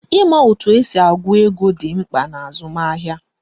Ịma etu esi agụ ego dị mkpa n'azụmahịa